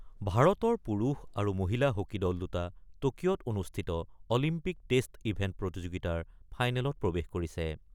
ভাৰতৰ পুৰুষ আৰু মহিলা হকী দল দুটা টকিঅ'ত অনুষ্ঠিত অলিম্পিক টেষ্ট ইভেণ্ট প্ৰতিযোগিতাৰ ফাইনেলত প্ৰৱেশ কৰিছে।